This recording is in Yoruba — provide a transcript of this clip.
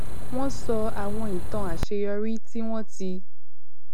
wọn sọ àwọn ìtàn àṣeyọrí tí wọn ti